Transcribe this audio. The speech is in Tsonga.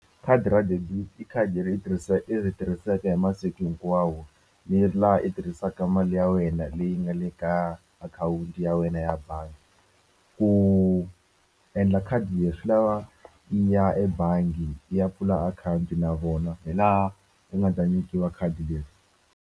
Khadi ra debit i khadi ri i ri tirhiseke hi masiku hinkwawo ni laha i tirhisaka mali ya wena leyi nga le ka akhawunti ya wena ya bangi ku endla khadi swi lava i ya ebangi i ya pfula akhawunti na vona hi laha u nga ta nyikiwa khadi leri.